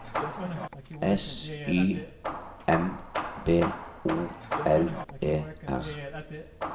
S Y M B O L E R